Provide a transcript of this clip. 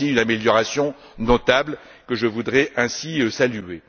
une amélioration notable que je voudrais ainsi saluer.